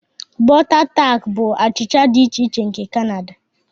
Butter tart bụ achịcha dị iche iche nke Canada.